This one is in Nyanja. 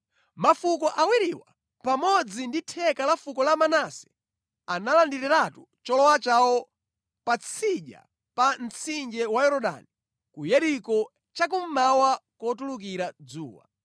Mafuko awiriwa pamodzi ndi theka la fuko la Manase analandiriratu cholowa chawo patsidya pa mtsinje wa Yorodani ku Yeriko cha kummawa kotulukira dzuwa.”